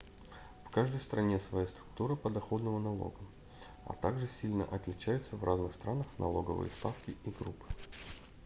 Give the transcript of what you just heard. в каждой стране своя структура подоходного налога а также сильно отличаются в разных странах налоговые ставки и группы